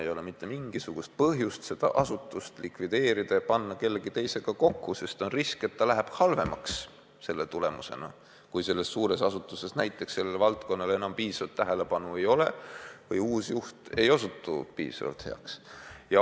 Ei ole mitte mingisugust põhjust seda asutust likvideerida ja panna kellegi teisega kokku, sest on risk, et asi läheb halvemaks, kui selles suures asutuses mõnele valdkonnale enam piisavat tähelepanu ei ole või uus juht ei osutu piisavalt heaks.